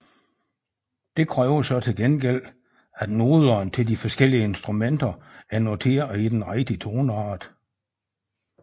Det kræver så til gengæld at noderne til de forskellige instrumenter er noteret i den rigtige toneart